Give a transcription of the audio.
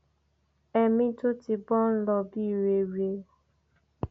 ẹmí tó ti bọ ń lọ bíi rere